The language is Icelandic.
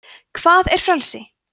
hvað er frelsi